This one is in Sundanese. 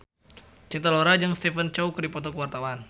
Cinta Laura jeung Stephen Chow keur dipoto ku wartawan